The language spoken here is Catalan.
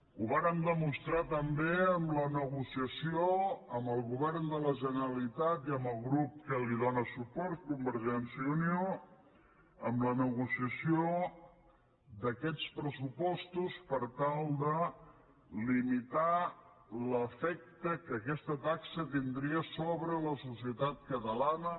ho vàrem demostrar també en la negociació amb el govern de la generalitat i amb el grup que li dóna suport convergència i unió d’aquests pressupostos per tal de limitar l’efecte que aquesta taxa tindria sobre la societat catalana